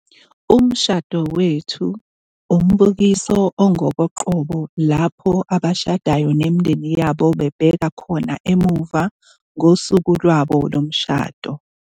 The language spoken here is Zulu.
Umshado Wethu - Umbukiso ongokoqobo lapho abashadayo nemindeni yabo bebheka khona emuva ngosuku lwabo lomshado.